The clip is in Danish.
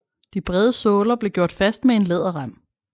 De brede såler blev gjort fast med en læderrem